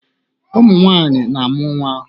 Ụmụ nwaanyị na-amụ nwaa.